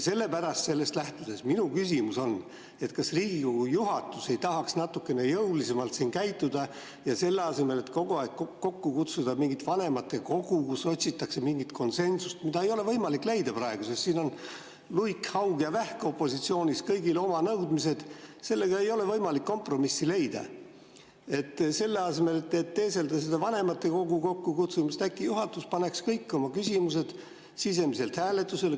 Sellest lähtudes on minu küsimus, kas Riigikogu juhatus ei tahaks natukene jõulisemalt käituda ja selle asemel, et kogu aeg kokku kutsuda mingit vanematekogu, kus otsitakse mingit konsensust, mida ei ole võimalik praegu leida, sest siin on luik, haug ja vähk opositsioonis, kõigil oma nõudmised ja ei ole võimalik kompromissi leida, selle asemel, et teeselda seda vanematekogu kokkukutsumist, äkki juhatus paneks kõik oma küsimused sisemiselt hääletusele.